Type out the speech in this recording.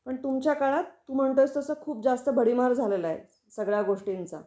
पण तुमच्या काळात तु म्हणतो आहेस तसा खूप जास्त भडीमार झालेला आहे सगळ्या गोष्टींचा.